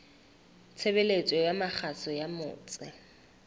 tshebeletso ya kgaso ya motse